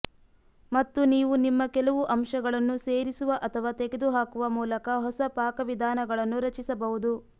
ಮತ್ತು ನೀವು ನಿಮ್ಮ ಕೆಲವು ಅಂಶಗಳನ್ನು ಸೇರಿಸುವ ಅಥವಾ ತೆಗೆದುಹಾಕುವ ಮೂಲಕ ಹೊಸ ಪಾಕವಿಧಾನಗಳನ್ನು ರಚಿಸಬಹುದು